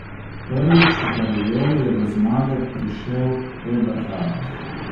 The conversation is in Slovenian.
Prvič v karieri je do zmage prišel Eberhard.